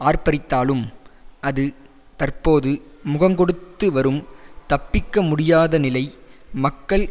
ஆர்ப்பரித்தாலும் அது தற்போது முகங்கொடுத்து வரும் தப்பிக்க முடியாத நிலை மக்கள்